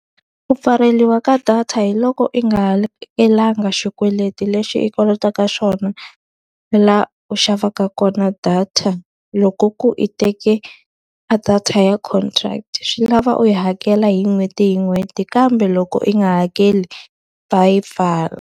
Ku pfaleriwa ka data hi loko i nga hakelangi xikweleti lexi i kolotaka xona, laha u xavaka kona data. Loko ku i teke a data ya contract, swi lava u yi hakela hi n'hweti hi n'hweti kambe loko i nga hakeli va yi pfala.